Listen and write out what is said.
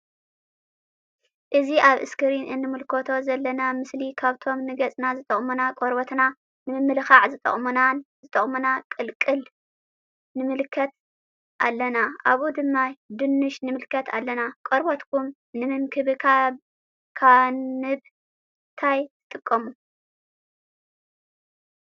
እዚ አብ እስክሪን እንምልከቶ ዘለና ምስሊ ካብቶም ንገፅና ዝጠቅሙና ቆርበትና ንምምልካዕ ዝጠቅሙና ቅልቅል ንምልከት አለና አብኡ ድማ ድንሽ ንምልከት አለና::ቆርበትኩም ንምንክብካንብ ታይ ትጥቀሙ ?